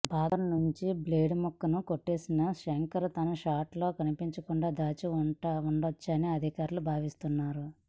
barber నుంచి blade ముక్కను కొట్టేసి శంకర్ తన షర్ట్ లో కనిపించకుండా దాచి ఉండొచ్చని అధికారులు భావిస్తున్నారు